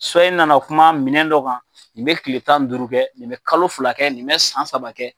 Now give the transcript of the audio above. i nana o kuma minɛn dɔ kan nin bɛ kile tan duuru kɛ, nin bɛ kalo fila kɛ , nin bɛ san saba kɛ.